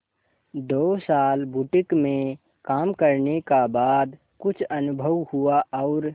दो साल बुटीक में काम करने का बाद कुछ अनुभव हुआ और